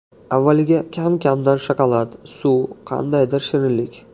Avvaliga kam-kamdan shokolad, suv, qandaydir shirinlik.